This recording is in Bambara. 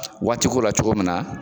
Waati ko la cogo min na